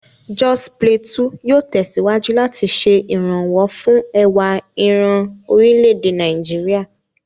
Jos Plateau yóò tẹ̀síwájú láti ṣe ìrànwọ́ fún ẹwà ìran orílẹ̀-èdè Nàìjíríà.